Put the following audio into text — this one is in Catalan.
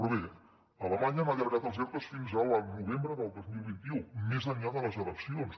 però bé a alemanya han allargat els ertos fins al novembre del dos mil vint u més enllà de les eleccions